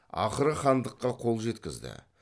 ақыры хандыққа қол жеткізді